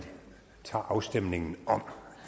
afstemningen om